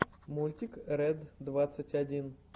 мультик ред двадцать один